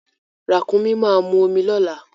Ràkúnmi máa mu omi lọ́la.